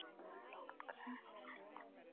Hann langar að snerta mig.